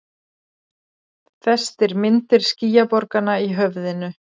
Festir myndir skýjaborganna í höfðinu.